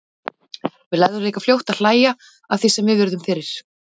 Við lærðum líka fljótt að hlæja að því sem við urðum fyrir.